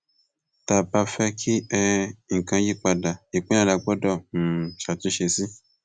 tá a bá fẹ kí um nǹkan yípadà ìpilẹ la gbọdọ um ṣàtúnṣe sí